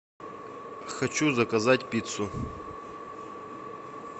хочу заказать пиццу